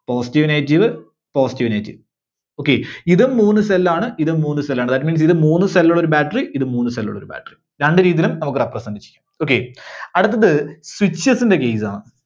Positive negative, positive negative, okay. ഇതും മൂന്ന് cell ആണ് ഇതും മൂന്ന് cell ആണ് That means ഇത് മൂന്ന് cell ഉള്ള ഒരു battery ഇത് മൂന്ന് cell ഉള്ള ഒരു battery. രണ്ടു രീതിയിലും നമുക്ക് represent ചെയ്യാം Okay. അടുത്തത് switches ന്റെ case ആണ്.